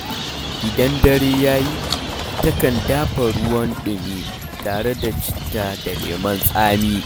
Idan dare ya yi, takan dafa ruwan ɗumi tare da citta da lemon tsami.